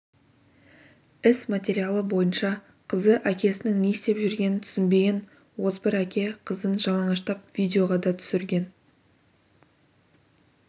іс материалы бойынша қызы әкесінің не істеп жүргенін түсінбеген озбыр әке қызын жалаңаштап видеоға да түсірген